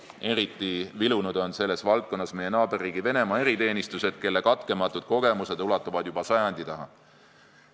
Eriti vilunud on selles valdkonnas meie naaberriigi Venemaa eriteenistused, kelle katkematud kogemused ulatuvad juba sajandi taha.